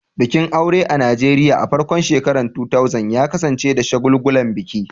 Bikin aure a Najeriya a farkon shekarun 2000 ya kasance da shagulgulan biki.